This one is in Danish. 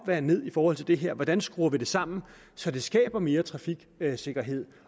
der er ned i forhold til det her hvordan skruer vi det sammen så det skaber mere trafiksikkerhed